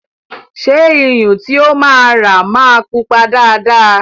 Ṣé Iyun tí o máa rà máa pupa dáadáa?